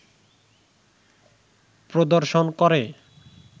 প্রদর্শন করে